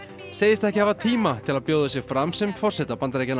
segist ekki hafa tíma til að bjóða sig fram sem forseta Bandaríkjanna